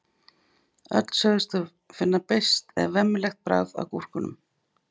öll sögðust þau finna beiskt eða „vemmilegt“ bragð af gúrkum